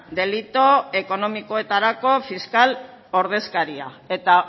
delitu ekonomikoetarako fiskal ordezkaria eta